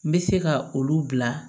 N bɛ se ka olu bila